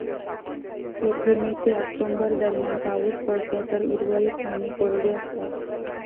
येथे मे ते ऑक्टोबर दरम्यान पाऊस पडतो तर उर्वरित महिने कोरडे असतात.